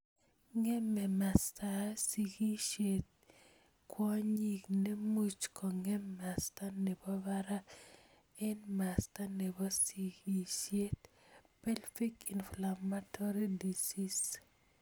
Ngeme mastaap sigishet ing kwonyink ne much kongem masta nepo parak ing masta nopo sigisiet.(pelvic inflammatory disease)